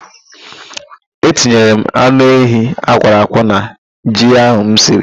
E tinyere m anụ ehi akwọrọ akwọ na ji ahụ m siri.